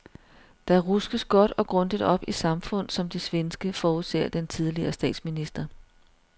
Der ruskes godt og grundigt op i samfund som det svenske, forudser den tidligere statsminister.